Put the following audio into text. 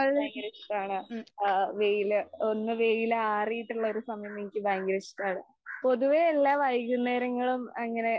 ഭയങ്കര ഇഷ്ടമാണ്. ആ വെയില് ഒന്ന് വെയില് ആറിയിട്ടുള്ള ഒരു സമയം എനിക്ക് ഭയങ്കര ഇഷ്ടമാണ്. പൊതുവേ എല്ലാ വൈകുന്നേരങ്ങളും അങ്ങനെ